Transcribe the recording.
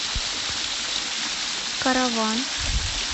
караван